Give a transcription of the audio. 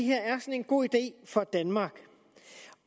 en god idé for danmark